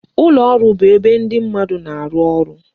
Ụlọ ọrụ bụ ebe ndị mmadụ na-arụ ọrụ